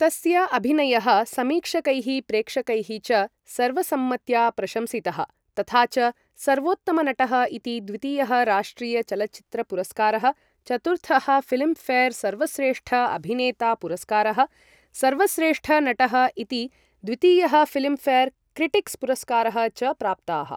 तस्य अभिनयः समीक्षकैः प्रेक्षकैः च सर्वसम्मत्या प्रशंसितः, तथा च सर्वोत्तम नटः इति द्वितीयः राष्ट्रिय चलच्चित्र पुरस्कारः, चतुर्थः फिल्म् फेर् सर्वश्रेष्ठ अभिनेता पुरस्कारः, सर्वश्रेष्ठ नटः इति द्वितीयः फिल्म् फेर् क्रिटिक्स् पुरस्कारः च प्राप्ताः।